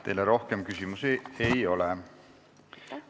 Teile rohkem küsimusi ei ole.